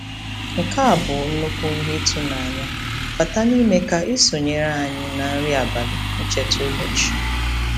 Nke a bụ nnukwu ihe ịtụnanya - bata n'ime ka ị ị sonyere anyị na nri abalị ncheta ụbọchị.